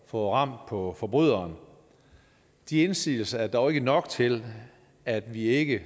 få ram på forbryderen de indsigelser er dog ikke nok til at vi ikke